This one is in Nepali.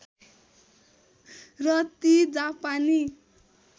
र ती जापानी